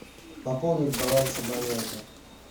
пополнить баланс абонента